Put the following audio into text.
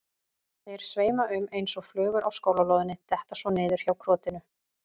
Þeir sveima um eins og flugur á skólalóðinni, detta svo niður hjá krotinu.